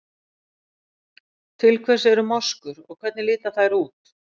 Til hvers eru moskur og hvernig líta þær út?